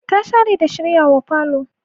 Ta share da shiryawa falo.